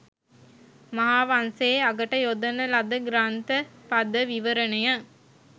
මහාවංසයේ අගට යොදන ලද ග්‍රන්ථ පද විවරණය